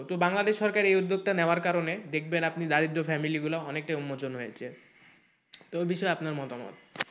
তো বাংলাদেশ সরকার এ উদ্যোগটা নেওয়ার কারণে দেখবেন আপনি দারিদ্র family গুলো অনেকটা উন্মোচন হয়েছে তো এ বিষয়ে আপনার মতামত?